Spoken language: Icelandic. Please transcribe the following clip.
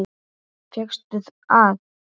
Fékkstu að.